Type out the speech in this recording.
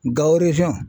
Gawo